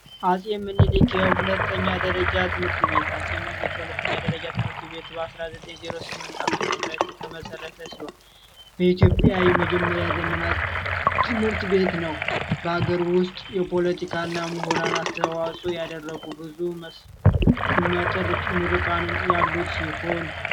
አጼ ምኒልክ የሁለተኛ ደረጃ ትምህርት ቤት ሁለተኛ ደረጃ ትምህርት ቤት 19 08 ዓ.ም የተመሰረተ ሲሆን በኢትዮጵያ የመጀመሪያ ዘመናት ትምህርት ቤት ነው በአገር ውስጥ የፖለቲካ እና ምሁራን አስተዋጾ ያደረጉት ምርቃንን ያሉ ሲሆን